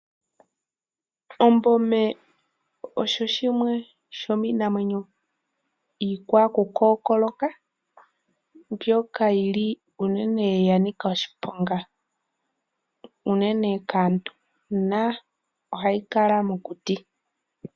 Ombome osho shimwe shomiinamwenyo iikwakukookoloka mbyoka yi li unene ya nika oshiponga unene kaantu nohayi kala mokuti.